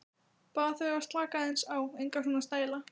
Bað þau að slaka aðeins á, enga svona stæla!